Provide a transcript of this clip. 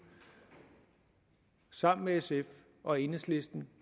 sammen med sf og enhedslisten